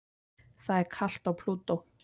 Það er kalt á Plútó.